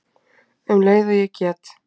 Um leið og ég get.